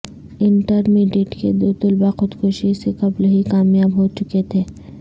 intermediate کے دو طلبہ خودکشی سے قبل ہی کامیاب ہوچکے تھے